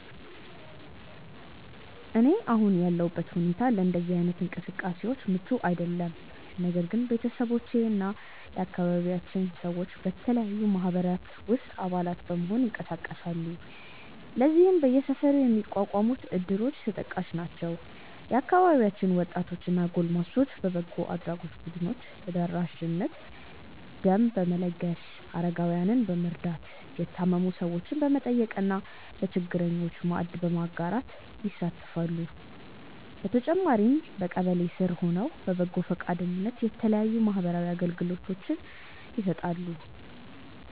እኔ አሁን ያለሁበት ሁኔታ ለእንደዚህ አይነት እንቅስቃሴዎች ምቹ አይደለም። ነገር ግን ቤተሰቦቼ እና የአካባቢያችን ሰዎች በተለያዩ ማህበራት ውስጥ አባላት በመሆን ይንቀሳቀሳሉ። ለዚህም በየሰፈሩ የሚቋቋሙት እድሮች ተጠቃሽ ናቸው። የአካባቢያችን ወጣቶች እና ጎልማሶች በበጎ አድራጎት ቡድኖች ተደራጅተው ደም በመለገስ፣ አረጋውያንን በመርዳት፣ የታመሙ ሰዎችን በመጠየቅ እና ለችግረኞች ማዕድ በማጋራት ይሳተፋሉ። በተጨማሪም በቀበሌ ስር ሆነው በበጎ ፈቃደኝነት የተለያዩ ማህበራዊ አገልግሎቶችን ይሰጣሉ።